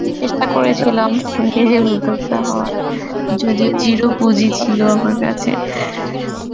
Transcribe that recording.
চেষ্টা করেছিলাম নিজে উদ্যোক্তা হওয়ার, যদিও zero পুজি ছিল আমার কাছেকী